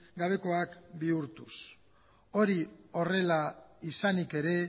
gabekoak bihurtuz hori horrela izanik ere